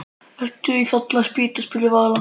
Ertu með í Fallin spýta? spurði Vala.